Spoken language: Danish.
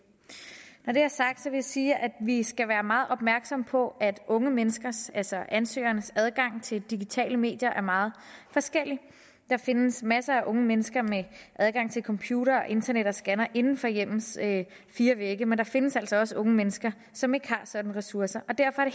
når det er sagt vil jeg sige at vi skal være meget opmærksomme på at unge menneskers altså ansøgernes adgang til digitale medier er meget forskellig der findes masser af unge mennesker med adgang til computer og internet og scanner inden for hjemmets fire vægge men der findes altså også unge mennesker som ikke har sådanne ressourcer derfor er